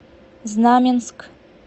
знаменск